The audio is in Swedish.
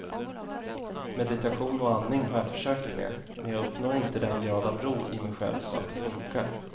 Meditation och andning har jag försökt med, men jag uppnår inte den grad av ro i mig själv så att det funkar.